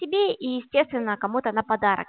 тебе и естественно кому-то на подарок